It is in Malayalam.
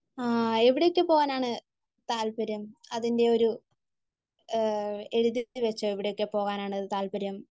ആഹ് എവിടേക്ക് പോകാനാണ് താല്പര്യം? അതിൻ്റെ ഒരു എഴുതി വച്ചോ, എവിടെയൊക്കെ പോകാനാണ് താല്പര്യം?